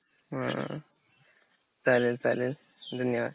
ह्ह चालेल चालेल धन्यवाद.